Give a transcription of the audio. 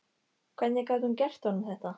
Hvernig gat hún gert honum þetta?